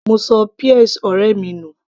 mo ṣọ peas ọ̀rẹ́ mi nù